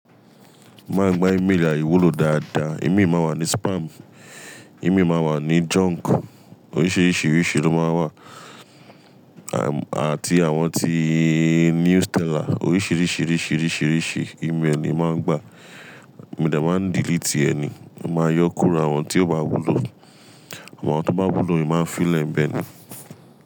Má n gba email àiwúlò dáadáa. Imi má wà ní spam, imi má wà ní junk, oríṣìríṣí ríṣí ló má n wà, erm àti àwọn tííí newsteller oríṣìríṣí ríṣí ríṣí ríṣí email ni má n gba. Mo dẹ má n delete ẹ ni, má yọ́kùro àwọn tí ó bá wúlò, àwọn tó bá wúlò in má n filẹ ńbẹ̀ ni.